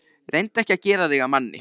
Reyndu ekki að gera þig að manni.